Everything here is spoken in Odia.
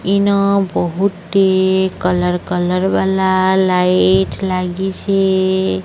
ଇନୋ ବହୁତି କଲର କଲର ଵାଲା ଲାଇଟ ଲାଗିଛି।